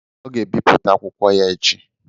Ọ ga-ebipụta akwụkwọ ya echi.